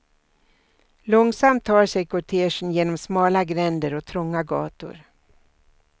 Långsamt tar sig kortegen genom smala gränder och trånga gator.